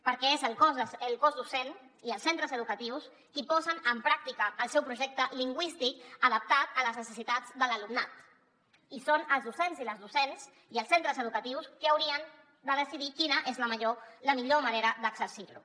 perquè són el cos docent i els centres educatius qui posen en pràctica el seu projecte lingüístic adaptat a les necessitats de l’alumnat i són els docents i les docents i els centres educatius qui haurien de decidir quina és la millor manera d’exercir lo